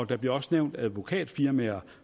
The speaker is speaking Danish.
der bliver også nævnt advokatfirmaer